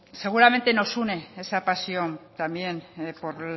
seguramente nos une esa pasión también por